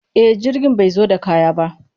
E, jirgin bai zo da kaya ba.